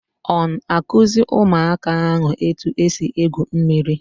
On akuzi Ụmụaka ahu eti esi egwu mmiri